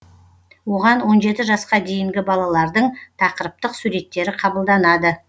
оған он жеті жасқа дейінгі балалардың тақырыптық суреттері қабылданады